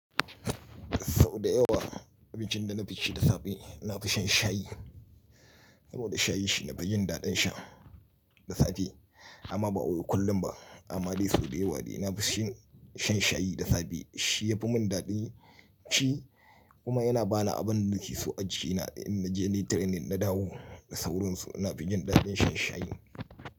Sau da yawa abincin da na fi ci da safe na fi shan shayi. Saboda shayi shi nafi jin daɗin sha da safe amma ba wai kullum ba amma dai sau da yawa dai na fi shan shayi da safe. Shi ya fi mun daɗin ci kuma yana bani abin da nake so ajina in naje ni yi training na dawo da sauransu na fi jin daɗin shan shayi.